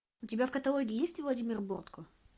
у тебя в каталоге есть владимир бортко